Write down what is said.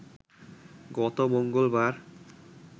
গত মঙ্গলবার